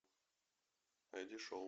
найди шоу